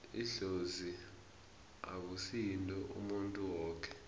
idlozi akusi yinto yomuntu woke